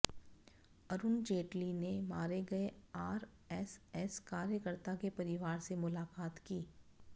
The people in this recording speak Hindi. अरुण जेटली ने मारे गए आरएसएस कार्यकर्ता के परिवार से मुलाकात की